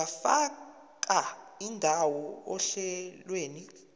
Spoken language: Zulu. ungafaka indawo ohlelweni